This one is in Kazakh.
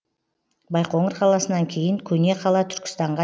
байқоңыр қаласынан кейін көне қала түркістанға